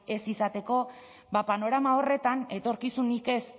ez izateko ba panorama horretan etorkizunik ez